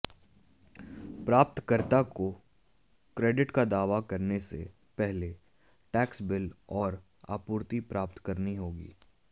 प्राप्तकर्ता को क्रेडिट का दावा करने से पहले टैक्स बिल और आपूर्ति प्राप्त करनी होगी